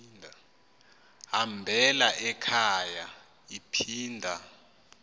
hambela ekhaya iphinda